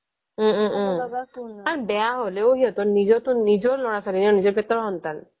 ওম ওম ওম আৰু বেয়া হলেও তো নিজৰ তো নিজৰ লৰা ছোৱালী নিজৰ পেটৰ সন্তান